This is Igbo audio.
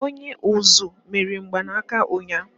Onye uzú mere mgbanaka ụnyahụ.